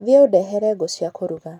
Thiĩ ũndehere ngũ cia kũruga.